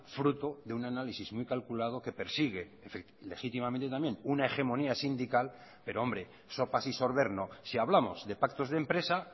fruto de un análisis muy calculado que persigue legítimamente también una hegemonía sindical pero hombre sopas y sorber no si hablamos de pactos de empresa